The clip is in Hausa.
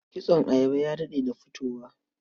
Kitson ayaba ya daɗe da fitowa.